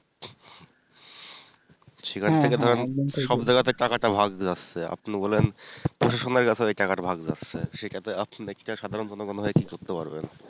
সেখান থেকে ধরেন সব জাইগাতে টাকা টা ভাগ যাচ্ছে আপনি বলেন প্রসাসনের কাছে ওই টাকা টা ভাগ যাচ্ছে সেটাতে আপনি ব্যাক্তিরা সাধারন মতো জাইগা কি করতে পারবেন